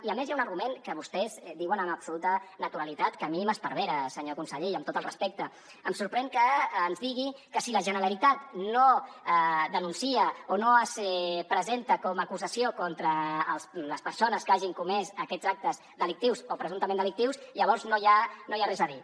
i a més hi ha un argument que vostès diuen amb absoluta naturalitat que a mi m’esparvera senyor conseller i amb tot el respecte em sorprèn que ens digui que si la generalitat no denuncia o no es presenta com a acusació contra les persones que hagin comès aquests actes delictius o presumptament delictius llavors no hi ha res a dir